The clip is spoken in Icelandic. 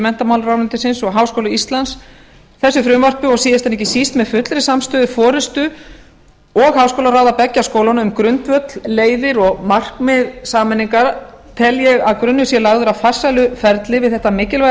menntamálaráðuneytisins og háskóla íslands þessu frumvarpi og síðast en ekki síst með fullri samstöðu forustu og háskólaráða beggja skólanna um grundvöll leiðir og markmið sameiningar tel ég að grunur sé lagður að farsælu ferli við þetta mikilvæga